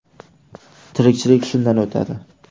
Tirikchilik shundan o‘tadi.